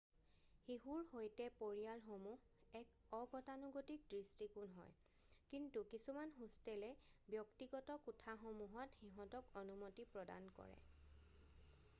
শিশুৰ সৈতে পৰিয়ালসমূহ এক অগতানুগতিক দৃষ্টিকোণ হয় কিন্তু কিছুমান হোষ্টেলে ব্যক্তিগত কোঠাসমূহত সিঁহতক অনুমতি প্ৰদান কৰে৷